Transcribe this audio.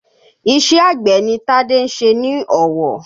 Iṣẹ́ àgbẹ̀ ni Tade ń ṣe ní Ọ̀wọ̀